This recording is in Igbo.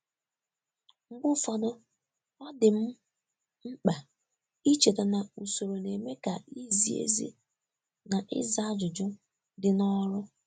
Mgbe ụfọdụ, ọ dị m mkpa icheta na usoro na-eme ka izi ezi na ịza ajụjụ dị n'ọrụ.